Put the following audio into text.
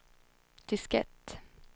diskett